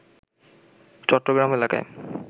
চট্টগ্রাম এলাকায়